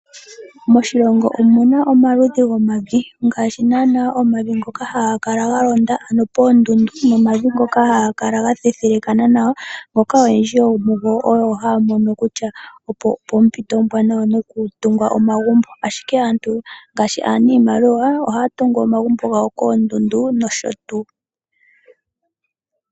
Moshilongo omu na omaludhi gomavi, ngaashi naanaa omavi ngoka haga kala ga londa, ano poondundu nomavi ngoka haga kala ga thethelekana nawa, ngoka oyendji yomugo haya mono kutya opo poompito oombwanawa nokutunga omagumbo. Ashike aantu ngaashi aaniimaliwa, ohaa tungu omagumbo gawo koondundu nosho tuu.